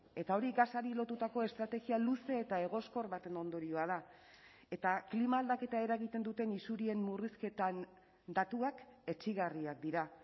eta hori gasari lotutako estrategia luze eta egoskor baten ondorioa da eta klima aldaketa eragiten duten isurien murrizketan datuak etsigarriak dira